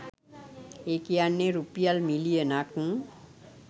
ඒ කියන්නේ රුපියල් මිලියන ක්